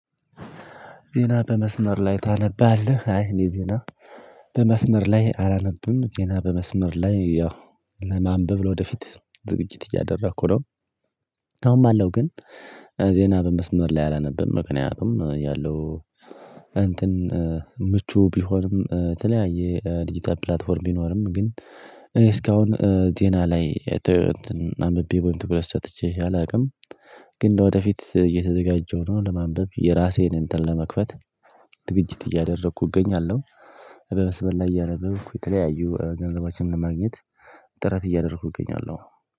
ዜና በመስመር ላይ ታነባለህ? አይ እኔ ዜና በመስመር ላይ አላነብም ዜና በመስመር ላይ ያው ለማንበብ ወደፊት ዝግጅት እያደረኩ ነው አሁን ባለው ግን ዜና በመስመር ላይ አላነበብም ምክንያቱም ያለው እንትን ምቹ ቢሆንም የተለያየ ዲጂታል ፕላትፎርም ቢኖርም ግን እኔ እስካሁን ዜና ላይ አምብቤ ወይም ትኩረት ሰጥቼ አላውቅም ግን ለወደፊት እየተዘጋጀሁ ነው ለማንበብ የራሴን እንትን ለመክፈት ዝግጅት እያደረኩ እገኛለሁ በመስመር ላይ እያደረኩ የተለያዩ ገንዘቦችን ለማግኘት ጥረት እያደረኩ እገኛለሁ